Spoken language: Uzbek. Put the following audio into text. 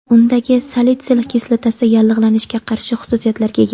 Undagi salitsil kislotasi yallig‘lanishga qarshi xususiyatlarga ega.